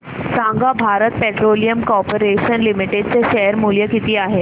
सांगा Bharat Petroleum Corporation Limited चे share मूल्य किती आहे